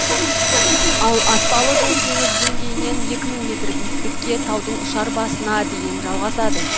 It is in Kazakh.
ал аспалы жол теңіз деңгейінен екі мың метр биіктікке таудың ұшар басына дейін жалғасады